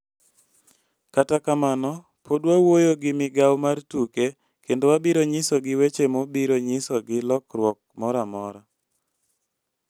Kata kamano pod wawuoyo gi migao mar tuke kendo wabiro nyisogi weche mobiro nyisogi lokruok mora mora.